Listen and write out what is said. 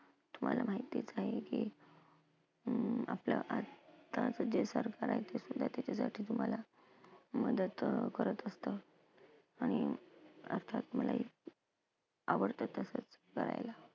तुम्हाला माहिती आहे का की अं आपल्या त्याच्यासाठी तुम्हाला मदत करत असतं आणि अर्थात मलाही आवडतं तसं करायला.